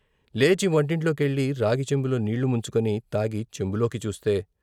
లేచి వంటింట్లో కెళ్ళి రాగి చెంబులో నీళ్ళు ముంచుకొని తాగి చెంబులోకి చూస్తే..